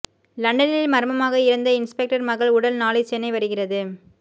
லண்டனில் மர்மமாக இறந்த இன்ஸ்பெக்டர் மகள் உடல் நாளை சென்னை வருகிறது